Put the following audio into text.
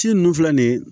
Ci nunnu filɛ nin ye